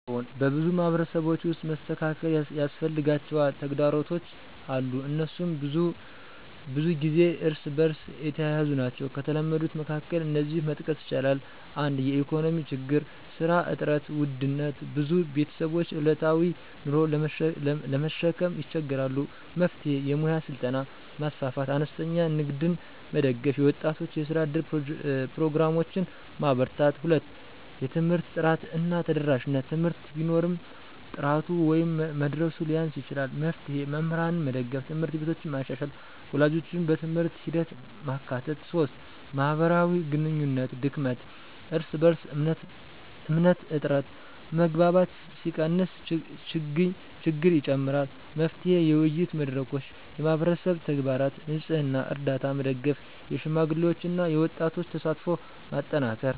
አዎን፣ በብዙ ማህበረሰቦች ውስጥ መስተካከል ያስፈልጋቸው ተግዳሮቶች አሉ፤ እነሱም ብዙ ጊዜ እርስ በእርስ የተያያዙ ናቸው። ከተለመዱት መካከል እነዚህን መጥቀስ ይቻላል፦ 1) የኢኮኖሚ ችግኝ (ስራ እጥረት፣ ውድነት): ብዙ ቤተሰቦች ዕለታዊ ኑሮን ለመሸከም ይቸገራሉ። መፍትሄ: የሙያ ስልጠና ማስፋፋት፣ አነስተኛ ንግድን መደገፍ፣ የወጣቶች የስራ እድል ፕሮግራሞችን ማበርታት። 2) የትምህርት ጥራት እና ተደራሽነት: ትምህርት ቢኖርም ጥራቱ ወይም መድረሱ ሊያንስ ይችላል። መፍትሄ: መምህራንን መደገፍ፣ ት/ቤቶችን መሻሻል፣ ወላጆችን በትምህርት ሂደት ማካተት። 3) የማህበራዊ ግንኙነት ድክመት (እርስ በእርስ እምነት እጥረት): መግባባት ሲቀንስ ችግኝ ይጨምራል። መፍትሄ: የውይይት መድረኮች፣ የማህበረሰብ ተግባራት (ንፅህና፣ ርዳታ) መደገፍ፣ የሽማግሌዎችና የወጣቶች ተሳትፎን ማጠናከር።